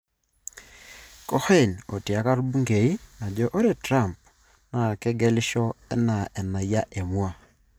Cohen otiaka Bungeii ajo ore Trump naa kegelisho anaa enayia emua.